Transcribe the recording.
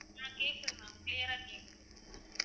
ஆஹ் கேக்குது ma'am clear ஆ கேக்குது